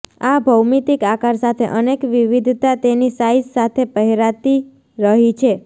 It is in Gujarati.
આ ભૌમિતિક આકાર સાથે અનેક વિવિધતા તેની સાઇઝ સાથે પહેરાતી રહી છે